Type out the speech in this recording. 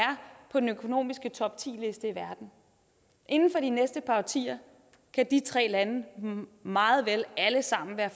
på den økonomiske toptiliste i verden inden for de næste par årtier kan de tre lande meget vel alle sammen være